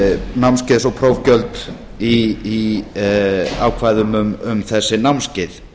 námskeiðs og prófgjöld í ákvæðum um þessi námskeið